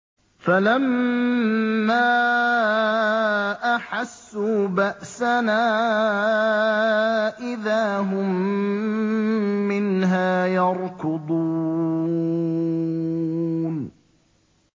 فَلَمَّا أَحَسُّوا بَأْسَنَا إِذَا هُم مِّنْهَا يَرْكُضُونَ